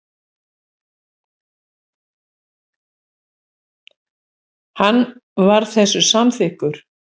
Hann var þessu samþykkur.